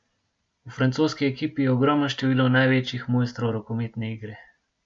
V francoski ekipi je ogromno število največjih mojstrov rokometne igre.